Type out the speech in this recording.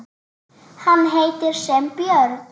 Hann heitir sem björn.